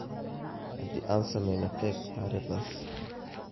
Haddii aan samayno keeg taariikhdaas.